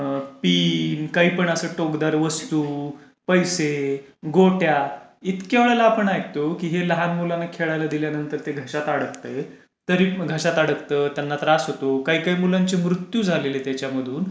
Pin, काही पण अशी टोकदार वस्तु, पैसे, गोट्या, इतक्या वेळेला आपण ऐकतो की हे लहान मुलांना खेळायला दिल्यानंतर ते घशात अडकते. तरी घशात अडकते, त्यांना त्रास होतो, काही काही मुलांचे मृत्यू झालेले त्यांच्यामधून,